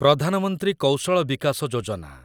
Pradhan Mantri Kaushal Vikas Yojana